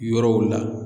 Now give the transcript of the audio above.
Yɔrɔw la